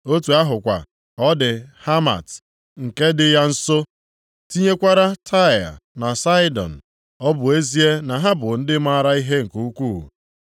Otu ahụkwa ka ọ dị Hamat, nke dị ya nso; tinyekwara Taịa na Saịdọn, ọ bụ ezie na ha bụ ndị maara ihe nke ukwu.